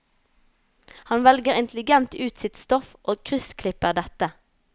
Han velger intelligent ut sitt stoff og kryssklipper dette.